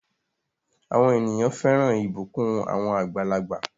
Àwọn ènìyàn fẹ́ràn ìbùkún àwọn àgbàlagbà.